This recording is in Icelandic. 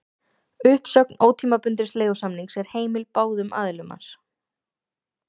Uppsögn ótímabundins leigusamnings er heimil báðum aðilum hans.